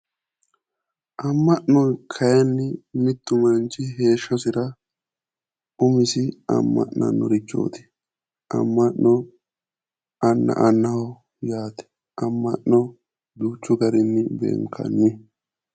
Amma'no kayinni mittu manchi heeshshosira umisi amma'nannorichooti amma'no anna annaho yaate amma'no duuchu garinni beenkanni